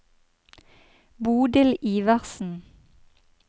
Bodil Iversen